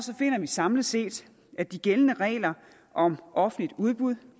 finder vi samlet set at de gældende regler om offentligt udbud